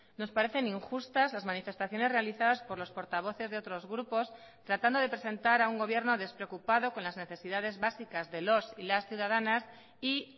nos parecen injustas las manifestaciones realizadas por los portavoces de otros grupos tratando de presentar a un gobierno despreocupado con las necesidades básicas de los y las ciudadanas y